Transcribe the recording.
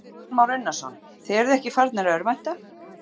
Kristján Már Unnarsson: Þið eruð ekki farnir að örvænta?